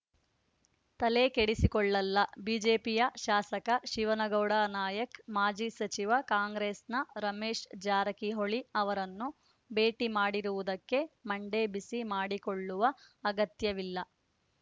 ತಲೆಕೆಡಿಸಿಕೊಳ್ಳಲ್ಲ ಬಿಜೆಪಿಯ ಶಾಸಕ ಶಿವನಗೌಡ ನಾಯಕ್ಮಾಜಿ ಸಚಿವ ಕಾಂಗ್ರೆಸ್‌ನ ರಮೇಶ್ ಜಾರಕಿಹೊಳಿ ಅವರನ್ನು ಭೇಟಿ ಮಾಡಿರುವುದಕ್ಕೆ ಮಂಡೆ ಬಿಸಿ ಮಾಡಿಕೊಳ್ಳುವ ಅಗತ್ಯವಿಲ್ಲ